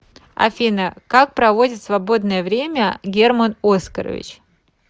афина как проводит свободное время герман оскарович